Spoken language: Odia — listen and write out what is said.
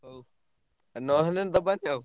ହଉ ନହେଲେ ଦବାନି ଆଉ।